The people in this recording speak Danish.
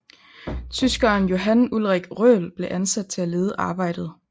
Tyskeren Johan Ulrich Röhl blev ansat til at lede arbejdet